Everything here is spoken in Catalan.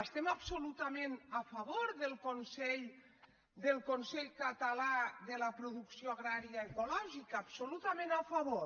estem absolutament a favor del consell català de producció agrària ecològica absolutament a favor